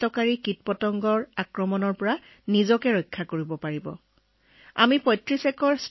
পথাৰত যদি কিবা পোকপৰুৱা থাকে তেন্তে আমি এই বিষয়ে সাৱধান হব পাৰো আৰু কৃষকসকলেও এইলৈ বহুত ভাল অনুভৱ কৰে